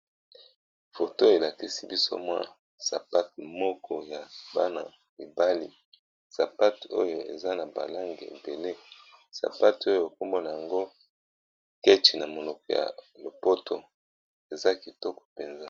Photo elakisi biso mwa sapate moko ya bana mibali sapate oyo eza na balange ebele sapate oyo ekombona yango kethi na monoko ya lopoto eza kitoko mpenza.